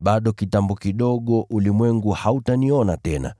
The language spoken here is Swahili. Bado kitambo kidogo ulimwengu hautaniona tena,